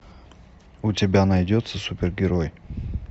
у тебя найдется супергерой